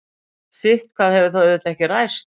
sitthvað hefur þó auðvitað ekki ræst